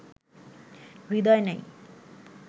হৃদয় নাই